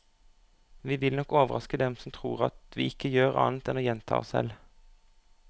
Vi vil nok overraske dem som tror at vi ikke gjør annet enn å gjenta oss selv.